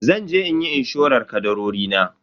Zanje inyi inshorar kadarori na.